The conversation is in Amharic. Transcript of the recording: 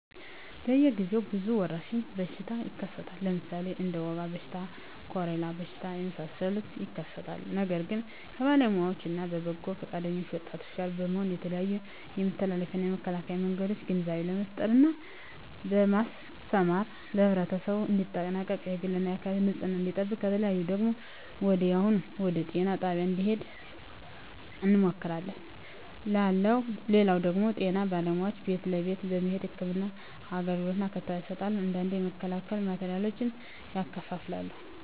በየ ግዜው ብዙ የወረሽኝ በሽታ ይከሰታል ለምሣሌ እንደ ወባ በሽታ ኮሪላ በሽታ የመሣሠሉት ይከሠታሉ ነገር ግን በባለውያዎች እነ በበጎ ፈቃደኞች ወጣቶች ጋር በመሆን የተለያዮ የመተላለፊያ እና የመከላኪያ መንገዶችን ግንዛቤ በመፍጠር እና በማስተማር ለህብረተሠቡ እንዲጠነቀቅ የግል እና የአካባቢውን ንፅህና እንዲጠብቅ ከተያዙ ደግሞ ወዲያሁኑ ወደጤና ጣቢያ እንድሄዱ እንመክራለን ላለው ደግም ጤና ባለሙያዎች ቤት ለቤት በመሄድ ህክምና አገልግሎት እና ክትባት ይሠጣሉ አንዳንዴ የመከላከያ ማቴሪያሎችን ያከፋፍላሉ